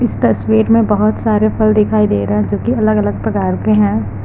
इस तस्वीर बहुत सारे फल दिखाई दे रहा है जो की अलग अलग प्रकार के हैं।